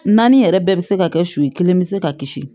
Naani yɛrɛ bɛɛ bɛ se ka kɛ su kelen bɛ se ka kisi